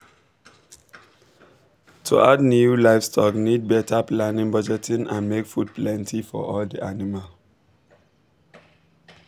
to add new livestock need better planning budgeting and make food plenty for all the animal